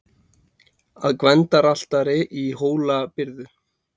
Að Gvendaraltari í Hólabyrðu.